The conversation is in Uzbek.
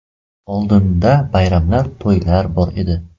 Oldinda bayramlar, to‘ylar bor edi.